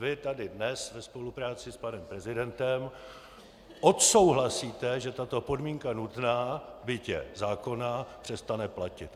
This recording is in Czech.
Vy tady dnes ve spolupráci s panem prezidentem odsouhlasíte, že tato podmínka nutná, byť je zákonná, přestane platit.